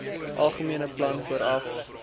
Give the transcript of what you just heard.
algemene plan vooraf